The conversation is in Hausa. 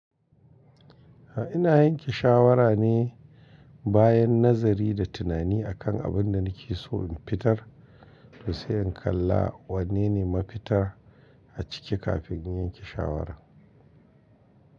Ina yanke shawara ne bayan nazari da tunani akan abin da nake so in fitar, to sai in kalla wanne ne mafitar a ciki kafin in yanke shawaran.